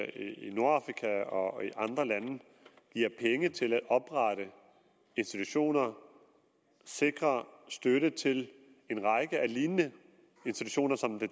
i nordafrika og andre lande giver penge til at oprette institutioner sikrer støtte til en række af lignende institutioner som det